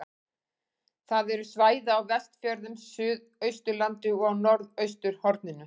Það eru svæði á Vestfjörðum, Suðausturlandi og á norðausturhorninu.